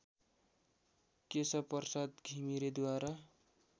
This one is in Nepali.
केशवप्रसाद घिमिरेद्वारा